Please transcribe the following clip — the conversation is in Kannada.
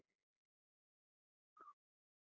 .